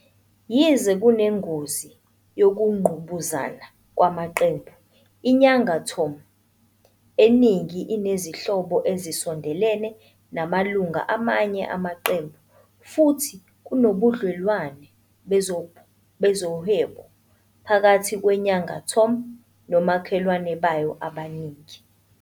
Yize kunengozi yokungqubuzana kwamaqembu, iNyangatom eningi inezihlobo ezisondelene namalungu amanye amaqembu futhi kunobudlelwano bezohwebo phakathi kweNyangatom nomakhelwane bayo abaningi.